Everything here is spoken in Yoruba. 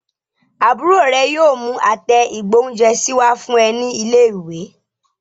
Àbúrò rẹ yóò mú àtẹ ìgbóhúnjẹsí wá fún ẹ ní ilé ìwé